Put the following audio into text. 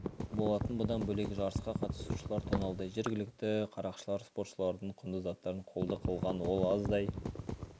болатын бұдан бөлек жарысқа қатысушылар тоналды жергілікті қарақшылар спортшылардың құнды заттарын қолды қылған ол аздай